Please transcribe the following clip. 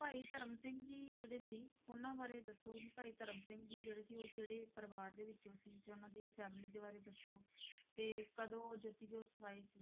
ਭਾਈ ਧਰਮ ਸਿੰਘ ਜੀ ਜਿਹੜੇ ਸੀ ਉਹਨਾਂ ਬਾਰੇ ਦੱਸੋ ਵੀ ਭਾਈ ਧਰਮ ਸਿੰਘ ਜੀ ਜਿਹੜੇ ਸੀ ਉਹ ਕਿਹੜੇ ਪਰਿਵਾਰ ਦੇ ਵਿੱਚੋਂ ਸੀ ਜਾਂ ਉਹਨਾਂ ਦੀ family ਬਾਰੇ ਦੱਸੋ ਤੇ ਕਦੋਂ ਜੋਤੀ ਜੋਤਿ ਸਮਾਏ ਸੀ,